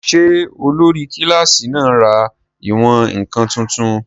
Ṣé olórí kílásì náà ra ìwọ̀n-ǹkan tuntun?